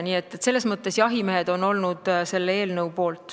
Nii et selles mõttes on jahimehed olnud selle eelnõu poolt.